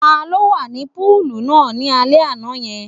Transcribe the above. Ta ló wà ní púùlù náà ni alẹ́ yẹn?